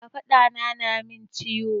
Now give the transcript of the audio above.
Kafaɗa na na min ciwo.